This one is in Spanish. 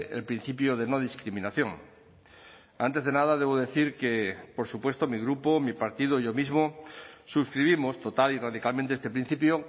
el principio de no discriminación antes de nada debo decir que por supuesto mi grupo mi partido yo mismo suscribimos total y radicalmente este principio